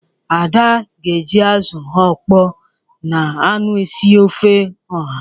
Ada ga-eji azụ ọkpọọ na anụ ezi sie ofe ọha.